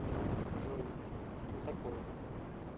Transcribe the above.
джой кто такой